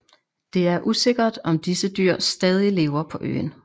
Det er usikkert om disse dyr stadig lever på øen